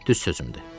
Düz sözümdür.